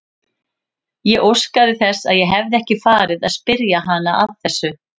Ég óskaði þess að ég hefði ekki farið að spyrja hana að þessu.